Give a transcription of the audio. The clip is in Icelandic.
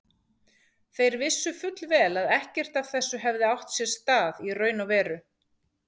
Þeir vissu fullvel að ekkert af þessu hefði átt sér stað í raun og veru.